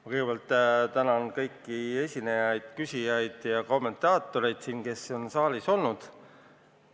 Ma kõigepealt tänan kõiki esinejaid, küsijaid ja kommentaatoreid, kes on siin saalis olnud.